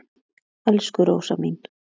Elsku Rósa mín.